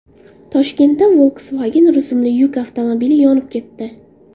Toshkentda Volkswagen rusumli yuk avtomobili yonib ketdi.